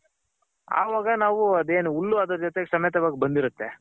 ಅವಾಗ ನಾವು ಅದೇನ್ ಹುಲ್ಲು ಅದರ್ ಜೊತೆ ಸಮೆತವಾಗ್ ಬಂದಿರುತ್ತೆ.